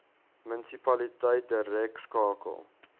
munisipaliteit direk skakel